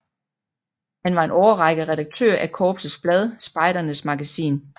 Han var en årrække redaktør af korpsets blad Spejdernes Magasin